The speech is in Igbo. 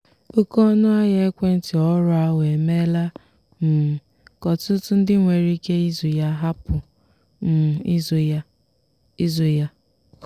oke ọnụahịa ekwentị ọhụrụ ahụ emeela um ka ọtụtụ ndị nwere ike ịzụ ya hapụ um ịzụ ya. ịzụ ya.